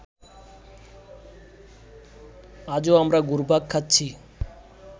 আজও আমরা ঘুরপাক খাচ্ছি